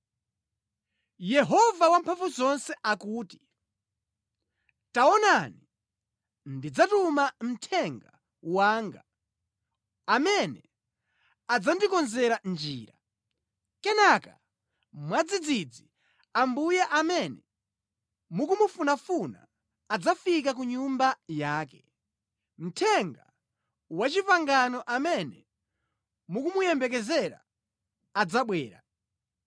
Yehova Wamphamvuzonse akuti, “Ine ndidzatuma mthenga wanga amene adzakonza njira pamaso panga. Kenaka mwadzidzidzi Ambuye amene mukumufunafuna adzafika ku Nyumba yake. Mthenga wapangano amene mukumuyembekezera adzabwera.”